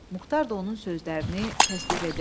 Muxtar da onun sözlərini təsdiq edirdi.